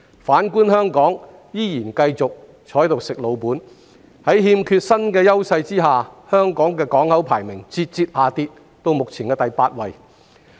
反觀香港，仍然繼續"吃老本"，在欠缺新優勢下，香港的港口排名節節下跌到目前的第八位。